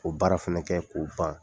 O baara fana kɛ k'o ban